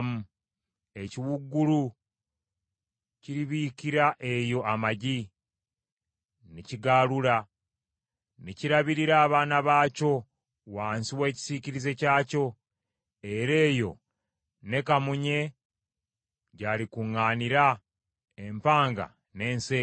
Ekiwuugulu kiribiikira eyo amagi, ne kigaalula, ne kirabirira abaana baakyo wansi w’ekisiikirize kyakyo. Era eyo ne kamunye gy’alikuŋŋaanira, empanga n’enseera.